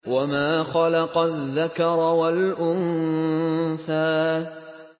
وَمَا خَلَقَ الذَّكَرَ وَالْأُنثَىٰ